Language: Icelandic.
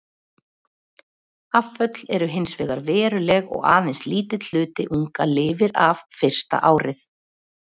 Afföll eru hins vegar veruleg og aðeins lítill hluti unga lifir af fyrsta árið.